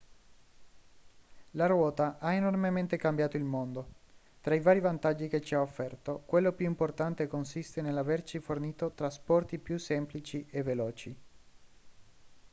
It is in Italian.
la ruota ha enormemente cambiato il mondo tra i vari vantaggi che ci ha offerto quello più importante consiste nell'averci fornito trasporti più semplici e veloci